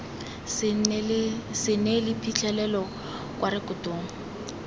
se neele phitlhelelo kwa rekotong